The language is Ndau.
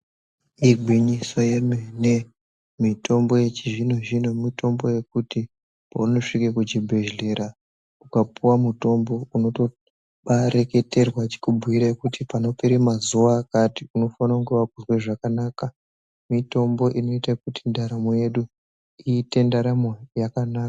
Igwinyiso yemene mitombo yechizvino-zvino, mitombo yekuti paunosvike kuchibhedhlera ukapuwa mutombo unotobareketerwa echikubhuira kuti panorera mazuva akati unofanenge vakuzwa zvakanaka. Mitombo inoite kuti ndaramo yedu iite ndaramo yakanaka.